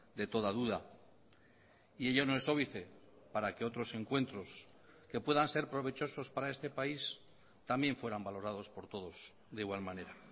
de toda duda y ello no es óbice para que otros encuentros que puedan ser provechosos para este país también fueran valorados por todos de igual manera